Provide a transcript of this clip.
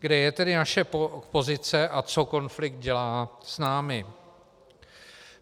Kde je tedy naše pozice a co konflikt dělá s námi?